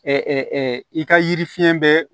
i ka yiri fiɲɛ bɛɛ